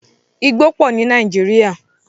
Igbó pọ ní Nàíjírìa.